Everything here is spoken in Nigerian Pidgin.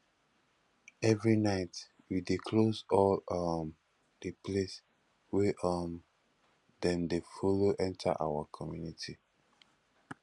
every night we dey close all um di place wey um dem dey folo enta our community